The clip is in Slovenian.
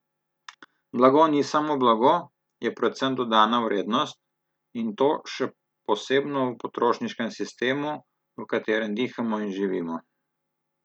Blago ni samo blago, je predvsem dodana vrednost, in to še posebno v potrošniškem sistemu, v katerem dihamo in živimo.